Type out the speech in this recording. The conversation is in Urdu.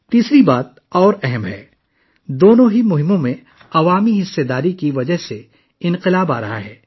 تیسری چیز زیادہ اہم ہے دونوں مہمات میں عوامی شرکت کی وجہ سے انقلاب آنے والا ہے